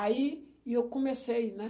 Aí, e eu comecei, né?